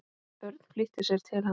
Örn flýtti sér til hans.